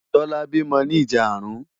Tola bímò ni ijàárùn